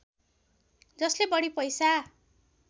जसले बढी पैसा